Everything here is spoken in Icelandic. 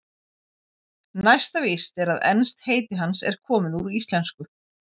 Næsta víst er að enskt heiti hans er komið úr íslensku.